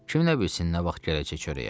Kim nə bilsin nə vaxt gələcək çörəyə?